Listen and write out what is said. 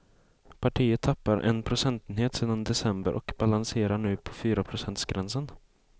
Partiet tappar en procentenhet sedan i december och balanserar nu på fyraprocentsgränsen.